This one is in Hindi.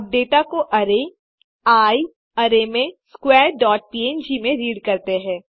अब डेटा को अरै आई arrayमें स्क्वेयर्स डॉट पंग में रीड करते हैं